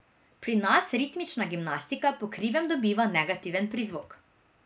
Pri nas ritmična gimnastika po krivem dobiva negativen prizvok ...